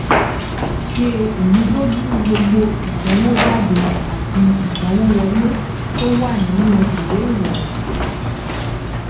ṣe ìmúdójú gbogbo ìsanwójáde àti ìsanwówọlé tó wà nínú ìwé ìròyìn